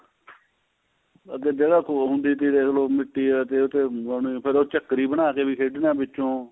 ਅੱਗੇ ਜਿਹੜਾ ਹੋਰ ਹੁੰਦੀ ਥੀ ਦੇਖ ਲੋ ਮਿਟੀ ਦਾ ਤੇਲ ਤੇ ਉਹਨੇ ਫੇਰ ਉਹ ਚਕਰੀ ਬਣਾ ਕੇ ਵੀ ਖੇਡਣਾ ਵਿਚੋ